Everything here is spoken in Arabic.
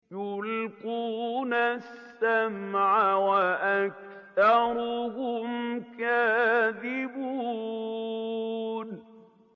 يُلْقُونَ السَّمْعَ وَأَكْثَرُهُمْ كَاذِبُونَ